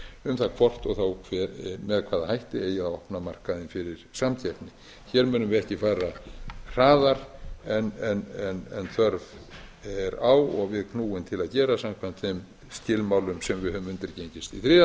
um það hvort og þá með hvaða hætti eigi að opna markaðinn fyrir samkeppni hér munum við ekki fara hraðar en þörf er á og við knúin til að gera samkvæmt þeim skilmálum sem við höfum undirgengist þriðja örugg fjarskipti þegar við